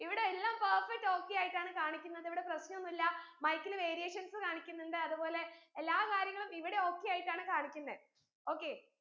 ഇവിടെയെല്ലാം perfect okay യായിട്ടാണ് കാണിക്കുന്നത് ഇവിടെ പ്രശ്നോന്നില്ല mike ൽ variations കാണിക്കുന്നിണ്ട് അതു പോലെ എല്ലാകാര്യങ്ങളും ഇവിടെ okay യായിട്ടാണ് കാണിക്കുന്നെ okay